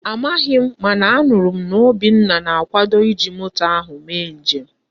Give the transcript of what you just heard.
Amaghi m mana a nuru m na Obinna na-akwado iji moto ahu mee njem.